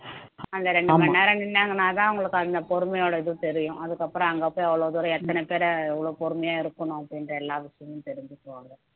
அந்த ரெண்டு மணி நேரம் நின்னாங்கன்னாதான் அவங்களுக்கு அந்த பொறுமையோட இது தெரியும் அதுக்கப்புறம் அங்க போய் அவ்வளவு தூரம் எத்தனை பேரை எவ்வளவு பொறுமையா இருக்கணும் அப்படின்ற எல்லா விஷயமும் தெரிஞ்சுக்குவாங்க